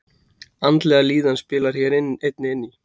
Andleg líðan spilar hér einnig inn í.